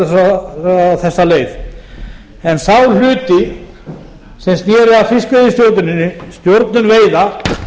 á þessa leið um þá hluti sem sneru að fiskveiðistjórninni stjórnun veiða